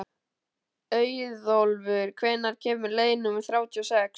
Auðólfur, hvenær kemur leið númer þrjátíu og sex?